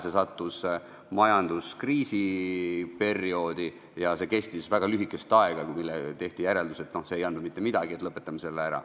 See sattus majanduskriisi perioodi ja kestis väga lühikest aega, siis tehti järeldus, et see ei andnud mitte midagi, et lõpetame selle ära.